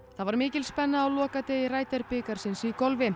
það var mikil spenna á lokadegi bikarsins í golfi